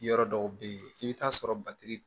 Yɔrɔ dɔw bɛ yen i bɛ t'a sɔrɔ